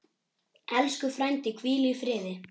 Elsku frændi, hvíl í friði.